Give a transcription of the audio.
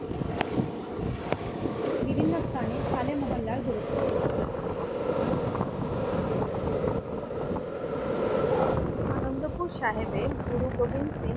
আনন্দপুর সাহেবের গুরু গোবিন্দ সিং